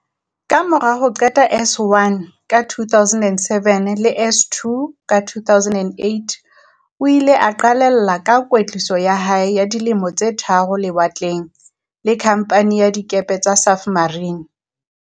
Kamora ho qeta S1 ka 2007 le S2 ka 2008, o ile a qalella ka kwetliso ya hae ya di lemo tse tharo lewatleng, le Khamphani ya Dikepe tsa Safmarine.